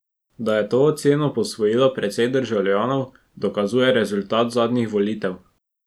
Da je to oceno posvojilo precej državljanov, dokazuje rezultat zadnjih volitev.